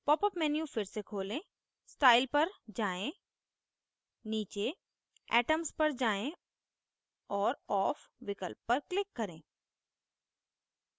popअप menu फिर से खोलें style पर जाएँ नीचे atoms पर जाएँ और off विकल्प पर click करें